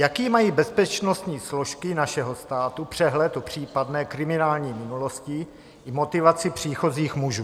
Jaký mají bezpečnostní složky našeho státu přehled o případné kriminální minulosti i motivaci příchozích mužů?